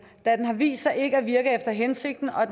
da den har vist sig ikke at virke efter hensigten og